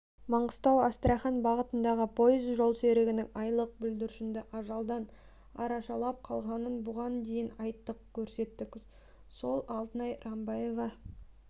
маңғыстау-астрахань бағытындағы пойыз жолсерігінің айлық бүлдіршінді ажалдан арашалап қалғанын бұған дейін айттық көрсеттік сол алтынай рамбаева